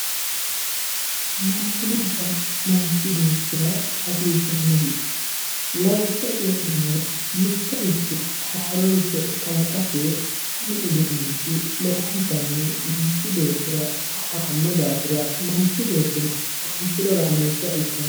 Maashinubba manchi beetira hasisanosi lawisha coyinumoro mitoricho haaroricho kalaqate kuni udunichi lowontani manchi beetira horo aano dafira manchi betino horonsire horaamesa ikano.